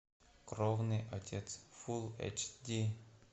кровный отец фул эйч ди